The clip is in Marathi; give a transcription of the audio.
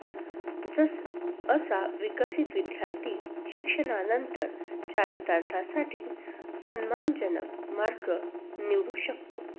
जसं, असा विकसित विद्यार्थी शिक्षणानंतर चरितार्थासाठी सन्मानजनक मार्ग निवडू शकतो.